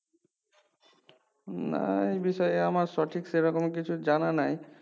না এই বিষয়ে আমার সঠিক সে রকম কিছু জানা নাই